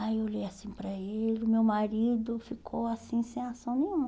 Aí eu olhei assim para ele, meu marido ficou assim, sem ação nenhuma.